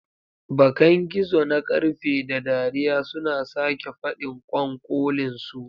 Bakan gizo na ƙarfe, da dariya suna sake faɗin ƙwanƙolinsu.